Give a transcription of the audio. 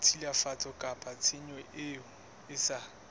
tshilafatso kapa tshenyo e sa